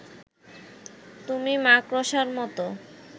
তুমি মাকড়সার মতো